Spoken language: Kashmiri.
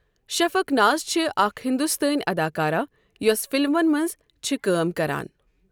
شفق ناز چھِ اَکھ ہِندوستٲنؠ اَداکارہ یۄس فِلمَن مَنٛز چھِ کٲم کَران.